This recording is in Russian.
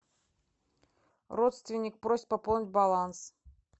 родственник просит пополнить баланс